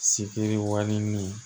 Sikiri wali ni